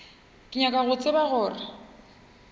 ke nyaka go tseba gore